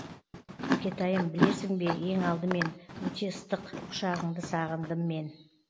әкетайым білесің бе ең алдымен өте ыстық құшағыңды сағындым мен